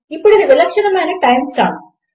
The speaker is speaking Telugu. ఇప్పుడు ఇది విలక్షణమైన టైమ్ స్టాంప్